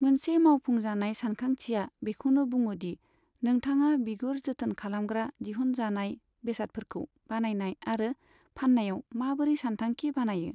मोनसे मावफुंजानाय सानथांखिया बेखौनो बुङो दि नोंथाङा बिगुर जोथोन खालामग्रा दिहुनजानाय बेसादफोरखौ बानायनाय आरो फाननायाव माबोरै सानथांखि बानायो।